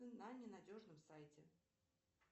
на ненадежном сайте